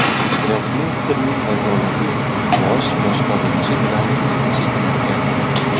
Grossmeysterning vakolati Bosh boshqaruvchi bilan cheklangan edi.